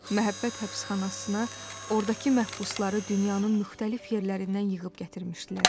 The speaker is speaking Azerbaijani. Məhəbbət həbsxanasına ordakı məhbusları dünyanın müxtəlif yerlərindən yığıb gətirmişdilər.